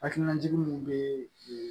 Hakilina jugu bɛ